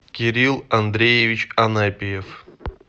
кирилл андреевич анапиев